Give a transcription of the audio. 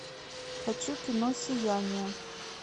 хочу кино сияние